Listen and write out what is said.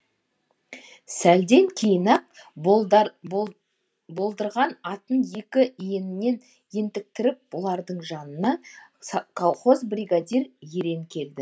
сәлден кейін ақ болдырған атын екі иінінен ентіктіріп бұлардың жанына колхоз бригадир ерен келді